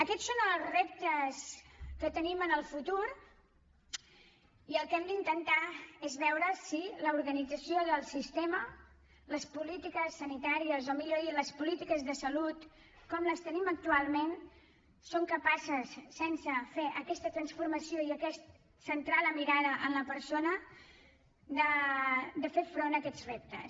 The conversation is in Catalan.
aquests són els reptes que tenim en el futur i el que hem d’intentar és veure si l’organització del sistema les polítiques sanitàries o millor dit les polítiques de salut com les tenim actualment són capaces sense fer aquesta transformació ni aquest centrar la mirada en la persona de fer front a aquests reptes